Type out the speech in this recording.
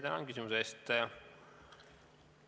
Tänan küsimuse eest!